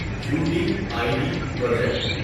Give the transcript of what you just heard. you D I D project